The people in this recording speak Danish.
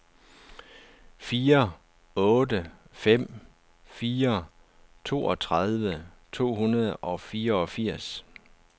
fire otte fem fire toogtredive to hundrede og fireogfirs